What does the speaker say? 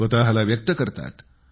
स्वतःला व्यक्त करतात